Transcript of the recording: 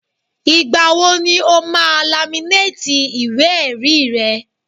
Ìgbà wo ni o máa laminéètì ìwé-ẹ̀rí rẹ̀?